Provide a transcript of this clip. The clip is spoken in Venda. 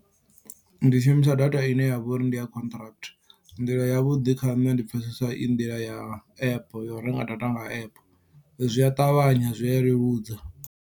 Ndi shumisa data ine yavha uri ndi ya contract nḓila ya vhuḓi kha nne ndi pfhesesa i nḓila ya app ya u renga data nga app zwi a ṱavhanya zwi a leludza.